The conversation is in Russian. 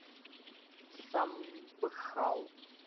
самбхал